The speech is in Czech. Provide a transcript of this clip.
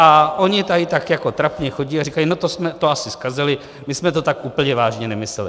A oni tady tak jako trapně chodí a říkají: No to jsme to asi zkazili, my jsme to tak úplně vážně nemysleli.